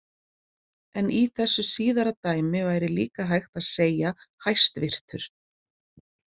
En í þessu síðara dæmi væri líka hægt að segja hæstvirtur.